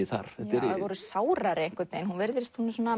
þar þær voru sárari einhvern veginn hún hún er